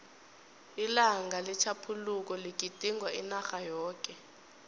ilanga letjhaphuluko ligidingwa inarha yoke